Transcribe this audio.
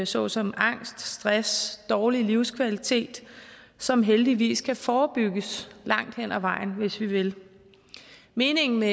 såsom angst stress og dårlig livskvalitet som heldigvis kan forebygges langt hed ad vejen hvis vi vil meningen med